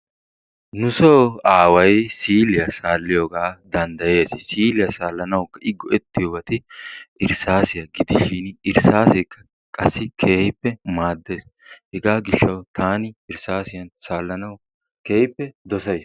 Nu soo away siiliyaa saaliyooga I danddayees. Siiliya salanawu I go"ettiyoobay irssassiya gidishin irssassekka qassi keehippe maaddees hega gishshawu taan irssassiyaan saalanawu keehippe dossays.